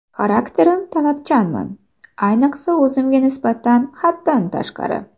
Xarakterim Talabchanman, ayniqsa o‘zimga nisbatan haddan tashqari.